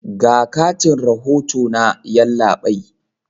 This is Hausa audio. Ga katin rahoto na, yallabai.